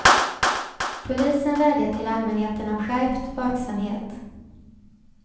Polisen vädjar till allmänheten om skärpt vaksamhet.